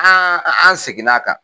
An an segin n'a kan.